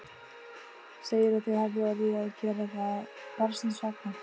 Segir að þau hafi orðið að gera það barnsins vegna.